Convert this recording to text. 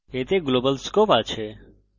এতে global scope আছে